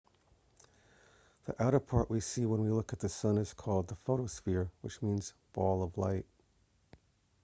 the outer-part we see when we look at the sun is called the photosphere which means ball of light